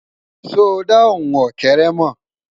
sọ dà ohùn ókéré mọ?